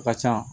A ka ca